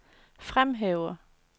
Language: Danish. fremhæver